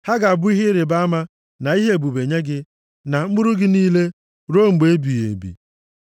Ha ga-abụ ihe ịrịbama na ihe ebube nye gị, na mkpụrụ gị niile, ruo mgbe ebighị ebi.